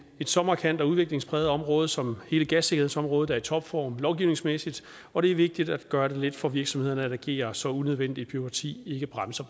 så markant og udviklingspræget område som hele gassikkerhedsområdet er i topform lovgivningsmæssigt og det er vigtigt at gøre det let for virksomhederne at agere så unødvendigt bureaukrati ikke bremser